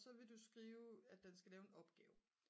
så vil du skrive at den skal lave en opgave